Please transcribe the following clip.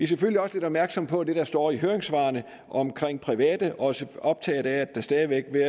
selvfølgelig også lidt opmærksomme på det der står i høringssvarene om private og er også optaget af at der stadig væk vil